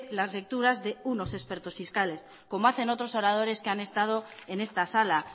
las lecturas de unos expertos fiscales como hacen otros oradores que han estado en esta sala